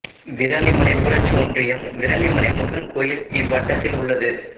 விராலிமலை ஊராட்சி ஒன்றியம் விராலிமலை முருகன் கோயில் இவ்வட்டத்தில் உள்ளது